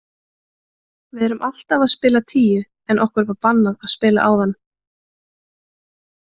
Við erum alltaf að spila tíu en okkur var bannað að spila áðan.